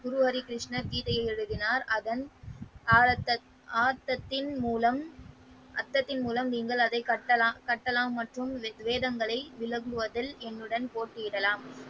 குரு ஹரி கிருஷ்ணா கீதை எழுதினார் அதன் ஆத்தத்தின் மூலம் அத்தத்தின் மூலம் நீங்கள் அதை கட்டலாம் மற்றும் வேதங்களை விளங்குவதில் என்னுடன் போட்டியிடலாம்.